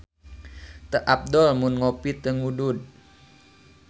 Teu apdol mun ngopi teu ngudud